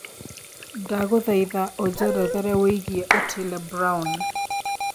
ndagũthaĩtha ũjerethere wĩigie otile brown